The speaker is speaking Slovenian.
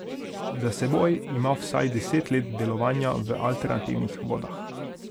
Za seboj ima vsaj deset let delovanja v alternativnih vodah.